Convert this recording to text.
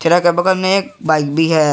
अगल बगल में एक बाइक भी है।